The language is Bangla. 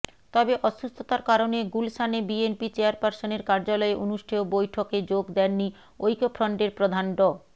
তবে অসুস্থতার কারণে গুলশানে বিএনপি চেয়ারপার্সনের কার্যালয়ে অনুষ্ঠেয় বৈঠকে যোগ দেননি ঐক্যফ্রন্টের প্রধান ড